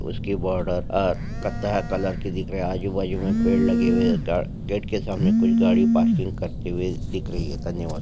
उसके बॉर्डर पर कथे कलर के दिख रहे है आजु बाजू में पेड़ लगे हुए है गेट के सामने कुछ गाड़ी पार्किंग करती हुई नजर आ रही है धन्यवाद।